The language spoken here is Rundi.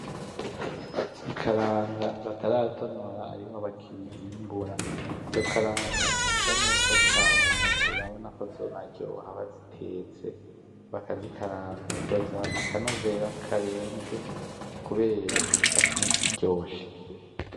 Ikaranga bataratonora ariho bakizimbura, izo karanga zisa neza cane urabona ko zonaryoha bazitetse bakazikaranga zozanana akanovera karenze kubera zisa nkiziryoshe.